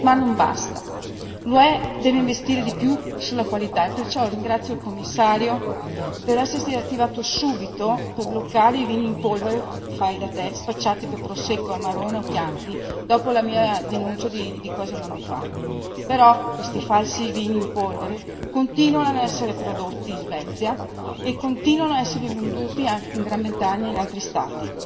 Ma non basta. L'UE deve investire di più sulla qualità, e perciò ringrazio il Commissario per essersi attivato subito per bloccare i vini in polvere fai da te spacciati per Prosecco, Amarone o Chianti, dopo la mia denuncia di quasi un anno fa. Tuttavia, questi falsi vini in polvere continuano ad essere prodotti in Svezia e ad essere venduti in Gran Bretagna e in altri Stati